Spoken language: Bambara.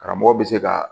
Karamɔgɔ bɛ se ka